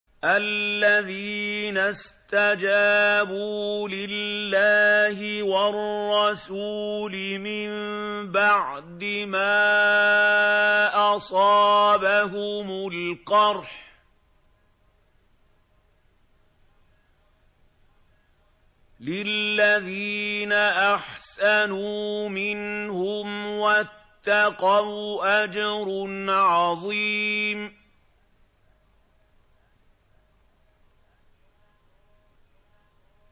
الَّذِينَ اسْتَجَابُوا لِلَّهِ وَالرَّسُولِ مِن بَعْدِ مَا أَصَابَهُمُ الْقَرْحُ ۚ لِلَّذِينَ أَحْسَنُوا مِنْهُمْ وَاتَّقَوْا أَجْرٌ عَظِيمٌ